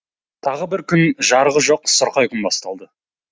тағы бір күн жарығы жоқ сұрқай күн басталды